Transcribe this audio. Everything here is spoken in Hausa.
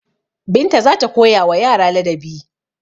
Binta za ta koyawa yara ladabi.